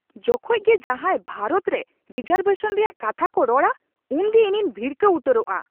ᱡᱚᱠᱷᱮᱡ ᱜᱮ ᱡᱟᱦᱟᱭ ᱵᱷᱟᱨᱚᱛ ᱨᱮ ᱨᱤᱡᱟᱨᱵᱷᱮᱥᱚᱱ ᱨᱮᱭᱟᱜ ᱠᱟᱛᱷᱟ ᱠᱚ ᱨᱚᱲᱟ ᱩᱱᱜᱮ ᱤᱧᱤᱧ ᱵᱷᱤᱲᱠᱟᱹᱣ ᱩᱛᱟᱹᱨᱚᱜᱼᱟ ᱾